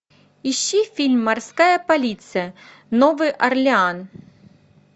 ищи фильм морская полиция новый орлеан